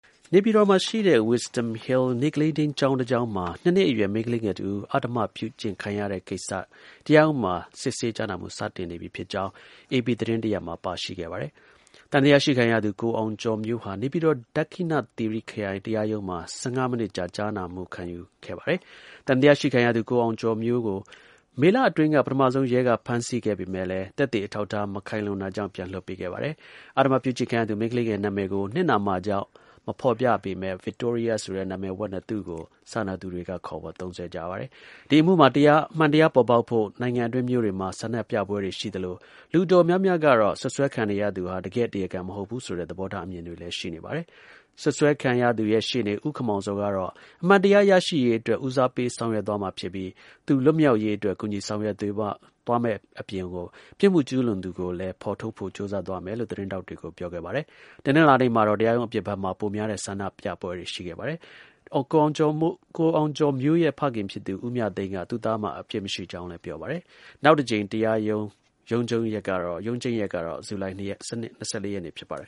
နေပြည်တော်ရှိ Wisdom Hill နေ့ကလေးထိန်းကျောင်းတစ်ကျောင်းမှာ ၂ နှစ်အရွယ် မိန်းကလေးငယ်တစ်ဦး အဓမ္မ ပြုကျင့်ခံရတဲ့ကိစ္စ တရားရုံးမှာ စစ်ဆေးကြားနာမှု စတင်နေပြီဖြစ်ကြောင်း အေပီ သတင်းတစ်ရပ်မှာ ပါရှိပါတယ်။ သံသယရှိခံရသူ ကိုအောင်ကျော်မျိုးဟာ နေပြည်တော် ဒက္ခိဏ သီရိ ခရိုင် တရားရုံးမှာ ၁၅ မိနစ်ကြာ ကြားနာစစ်ဆေးခံခဲ့ပါတယ်။ သံသယရှိခံရသူ ကိုအောင်ကျော်မျိုးကို မေလအတွင်းက ပထမဆုံး ရဲက ဖမ်းဆီးခဲ့သော်လည်း သက်သေ အထောက်အထား မခိုင်လုံတာ ကြောင့် ပြန်လည် လွှတ်ပေးခဲ့ပါတယ်။ အဓမ္မ ပြုကျင့်ခံရသူ မိန်းကလေးငယ် နာမည်ကို နစ်နာမှာကြောင့် မဖော်ပြပေမယ့် ဗစ်တိုးရီယား ဆိုတဲ့ နာမည်ဝှက်နဲ့ သူ့ကို စာနာသူတွေက ခေါ်ဝေါ်ကြပါတယ်။ ဒီ အမှုမှာ အမှန်တရား ပေါ်ပေါက်ဖို့ နိုင်ငံအတွင်း မြို့တွေမှာ ဆန္ဒပြပွဲတွေ ရှိသလို လူ အတော်များများကတော့ စွပ်စွဲခံနေရသူဟာ တကယ့် တရားခံ မဟုတ်ဘူးဆိုတဲ့ သဘောထား အမြင်တွေလည်း ရှိနေပါတယ်။ စွပ်စွဲခံရသူရဲ့ ရှေ့နေ ဦး ခင်မောင်ဇော်ကတော့ အမှန်တရား ရရှိရေးအတွက် ဦစားပေး ဆောင်ရွက်သွားမှာ ဖြစ်ပြီး သူ လွတ်မြောက်ရေးအတွက် ကူညီ ဆောင်ရွက်ပေးသွားမယ်လို့ ပြောတဲ့အပြင် ပြစ်မှု ကျူးလွန်သူကိုလည်း ဖော်ထုတ်ဖို့ ကြိုးစား သွားမယ်လို့ သတင်းထောက်တွေကို ပြောခဲ့ပါတယ်။ တနင်္လာနေ့မှာတော့ တရားရုံးအပြင်ဖက်မှာ ပိုများတဲ့ ဆန္ဒပြသူတွေ ရှိနေခဲ့ပါတယ်။ အောင်ကျော်မျိုးရဲ့ ဖခင်ဖြစ် ဦးမြသိန်းက သူ့သားမှာ အပြစ် မရှိကြောင်း ပြောပါတယ်။ နောက်တစ်ကြိမ် တရား ရုံးချိန်း ရက်ကတော့ ဇူလိုင် ၂၄ ရက်နေ့ဖြစ်ပါတယ်